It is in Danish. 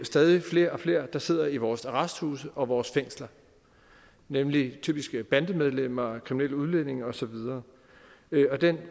stadig flere og flere der sidder i vores arresthuse og vores fængsler nemlig typisk bandemedlemmer kriminelle udlændinge og så videre og den